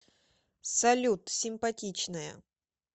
салют симпатичная